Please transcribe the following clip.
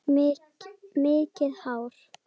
Mikið hár.